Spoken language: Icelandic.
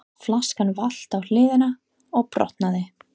Flaskan valt á hliðina og brotnaði.